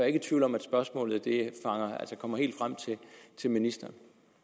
ikke i tvivl om at spørgsmålet kommer helt frem til ministeren